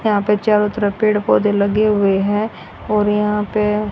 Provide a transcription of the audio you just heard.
यहां पे चारों तरफ पेड़ पौधे लगे हुए हैं और यहां पे--